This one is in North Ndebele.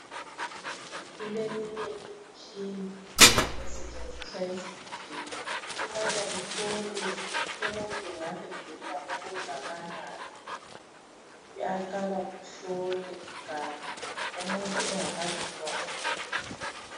Kule minye imitshina esetshenziswa esibhedlela ukubana ihlole ukuthi umuntu angabe gula okungakanani .Kuyaqala kuhlole kuqala umuntu engakaphiwa umuthi